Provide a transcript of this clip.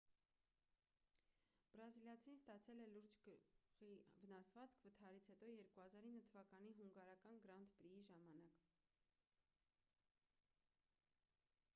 բրազիլացին ստացել է լուրջ գլխի վնասվածք վթարից հետո 2009 թվականի հունգարական գրանդ պրիի ժամանակ